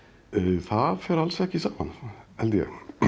það fer alls ekki saman held ég